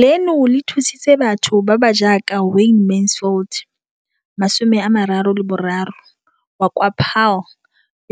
leno le thusitse batho ba ba jaaka Wayne Mansfield, 33, wa kwa Paarl,